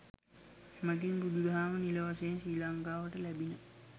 එමඟින් බුදුදහම නිල වශයෙන් ශ්‍රී ලංකාවට ලැබිණ.